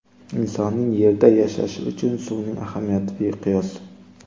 Insonning Yerda yashashi uchun suvning ahamiyati beqiyos.